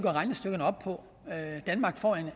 regnestykkerne op på danmark får